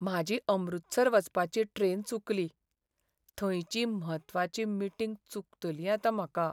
म्हाजी अमृतसर वचपाची ट्रेन चुकली, थंयची म्हत्वाची मिटींग चुकतली आतां म्हाका.